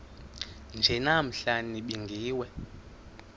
nje namhla nibingiwe